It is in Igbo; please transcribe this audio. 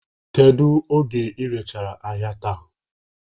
Kedu oge iji rechaa ahịa taa?